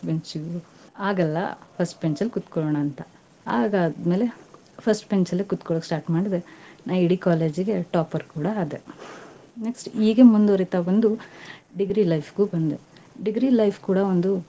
Last bench ಗೂ ಆಗಲ್ಲಾ. first bench ಕುತ್ಕೋಳ್ಳೋಣಾಂತ, ಅದಾದ್ಮೇಲೆ first bench ಅಲ್ಲೇ ಕುತ್ಕೋಳ್ಳೋಕೆ start ಮಾಡದೆ, ನಾ ಇಡೀ college ಗೆ topper ಕೂಡಾ ಆದೆ. next ಹೀಗೆ ಮುಂದ್ವರಿತಾ ಬಂದು, degree life ಗೂ ಬಂದೆ. degree life ಕೂಡಾ ಒಂದು.